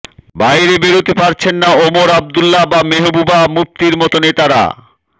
বাইরে বেরোতে পারছেন না ওমর আবদুল্লা বা মেহবুবা মুফতির মতো নেতারা